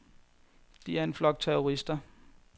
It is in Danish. De er en flok terrorister.